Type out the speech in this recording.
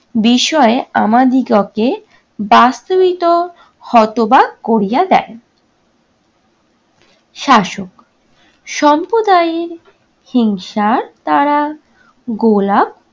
বিষয়ে আমাদিগকে বাস্তমিত হতবাক করিয়া দেন। শাসক- সম্প্রদায়ির হিংসার দ্বারা গোলাপ